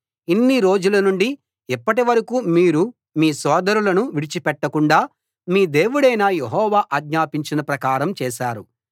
ఇన్నిరోజులనుండి ఇప్పటి వరకూ మీరు మీ సోదరులను విడిచిపెట్టకుండా మీ దేవుడైన యెహోవా ఆజ్ఞాపించిన ప్రకారం చేశారు